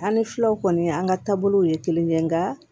An ni filaw kɔni an ka taabolow ye kelen ye nka